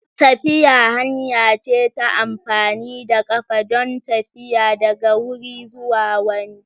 Tafiya hanya ce ta amfani da ƙafa don tafiya daga wuri zuwa wani.